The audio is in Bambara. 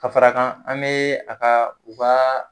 Ka fara a kan, an be a ka u ka